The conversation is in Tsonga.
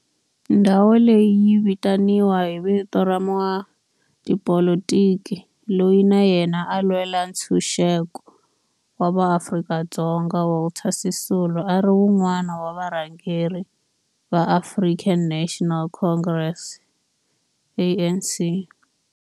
Ndhawo leyi yi vitaniwa hi vito ra n'watipolitiki loyi na yena a lwela ntshuxeko wa maAfrika-Dzonga Walter Sisulu, a ri wun'wana wa varhangeri va African National Congress, ANC.